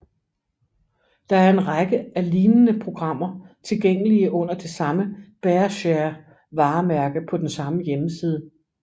Der er en række af lignende programmer tilgængelige under det samme BearShare varemærke på den samme hjemmeside